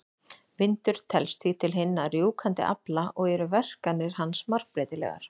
Vindur telst því til hinna rjúfandi afla og eru verkanir hans margbreytilegar.